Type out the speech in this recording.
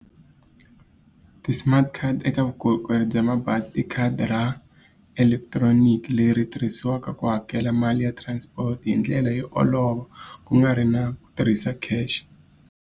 Ti-smart card eka vukorhokeri bya mabazi ti khadi ra electronic leri tirhisiwaka ku hakela mali ya transport hi ndlela yo olova, ku nga ri na ku tirhisa cash.